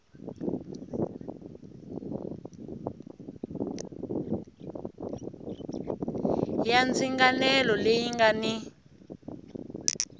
ya ndzinganelo leyi nga ni